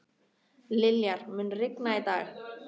Liljar, mun rigna í dag?